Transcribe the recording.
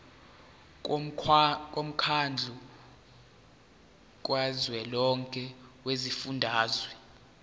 womkhandlu kazwelonke wezifundazwe